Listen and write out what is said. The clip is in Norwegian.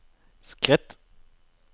skritt